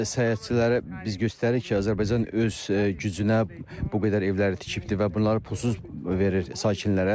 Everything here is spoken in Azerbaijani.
Səyahətçilərə biz göstəririk ki, Azərbaycan öz gücünə bu qədər evləri tikibdir və bunları pulsuz verir sakinlərinə.